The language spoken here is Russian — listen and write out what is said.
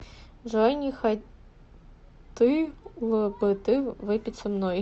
джой не хоты л бы ты выпить со мной